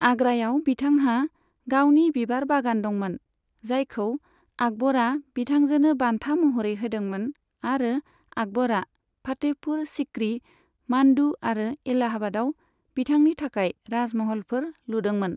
आग्रायाव बिथांहा गावनि बिबार बागान दंमोन, जायखौ आकबरा बिथांजोनो बान्था महरै होदोंमोन आरो आकबरआ फातेहपुर सीक्री, मान्डु आरो एलाहाबादआव बिथांनि थाखाय राजमहलफोर लुदोंमोन।